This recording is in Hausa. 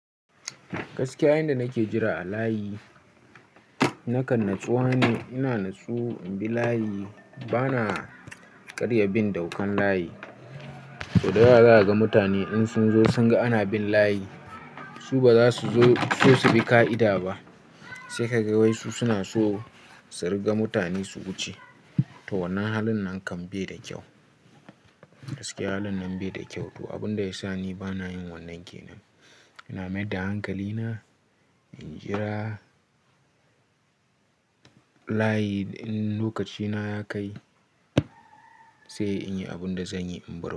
Gaskiya, inda nake jira a layi nakan natsuwa ne. Ina natsu in bi layi. Bana karya bin daukan layi. To, daga ga mutane in sun zo sun ga ana bin layi, su ba za su zo so su bi ka'ida ba. Sai ka ga wai su suna so su riga mutane su wuce. To wannan halin nan kan bai da kyau. Gaskiya halin nan bai da kyau. To, abin da ya sa ni bana yin wannan ke nan. Ina mai da hankali na, injira layi in lokaci na ya kai sai in yi abin da zan yi in bar.